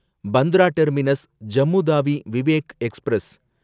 Bandra terminus Jammu Tawi Vivek express